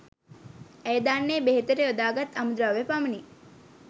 ඇය දන්නේ බෙහෙතට යොදා ගත් අමු ද්‍රව්‍ය පමණි